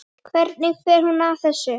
Hvernig fer hún að þessu?